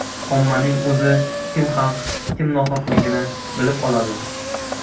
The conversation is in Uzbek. Ommaning o‘zi kim haq, kim nohaqligini bilib oladi.